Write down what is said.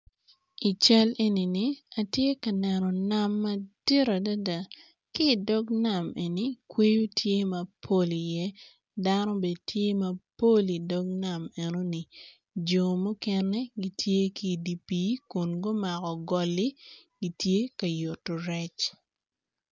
I cal enini atye ka neno nam madit adada ki dog nam eni kwoyo tye mapol i ye dano bene tye mapol i dog nam enoni jo mukene gitye ki dipi kun gumako goli gitye ka yuto rec.